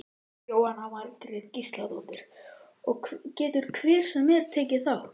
Jóhanna Margrét Gísladóttir: Og getur hver sem er tekið þátt?